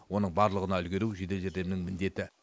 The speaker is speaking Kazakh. оның барлығына үлгеру жедел жәрдемнің міндеті